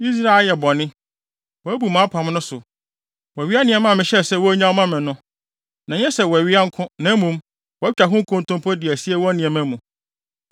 Israel ayɛ bɔne. Wɔabu mʼapam no so. Wɔawia nneɛma a mehyɛɛ sɛ wonnyaw mma me no. Na ɛnyɛ sɛ wɔawia nko, na mmom, wɔatwa ho nkontompo de asie wɔn nneɛma mu.